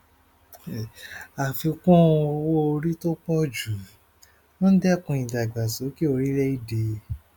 àfikún owó orí tó pọ ju ń dẹkun ìdàgbàsókè orílẹèdè